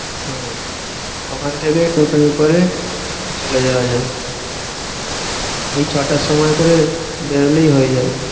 হম ওখান থেকে টোটোয় করে চলে যাওয়া যাবে। এই ছটার সময় করে বেরোলেই হয়ে যাবে।